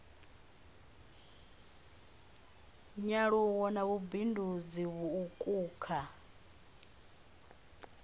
nyaluwo na vhubindudzi vhuuku kha